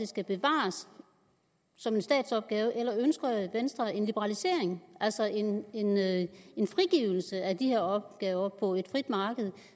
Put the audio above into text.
skal bevares som en statsopgave eller ønsker venstre en liberalisering altså en frigivelse af de her opgaver på et frit marked